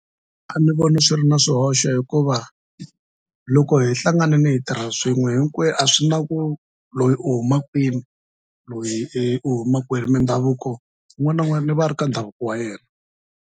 A ni voni swi ri na swihoxo hikuva loko hi hlanganini hi tirha swin'we a swi na ku loyi u huma kwini loyi e i huma kwini mindhavuko un'wana na un'wani i va a ri ka ndhavuko wa yena.